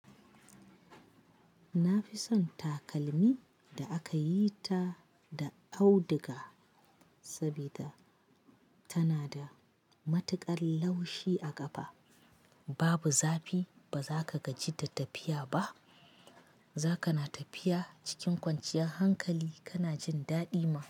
Na fi son takalmi da aka yi ta da auduga sabida tana da matukar laushi a ƙafa. Babu zafi, ba za ka gaji da tafiya ba. Zaka na tafiya cikin kwanciyar hankali, kana jin daɗi ma.